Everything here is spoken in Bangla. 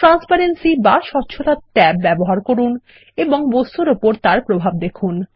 ট্রান্সপারেন্সি বা স্বচ্ছতা ট্যাব ব্যবহার করুন এবং বস্তুর উপর তার প্রভাব দেখুন